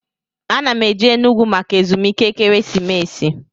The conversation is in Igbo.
A na m eje Enugwu maka ezumike ekeresimesi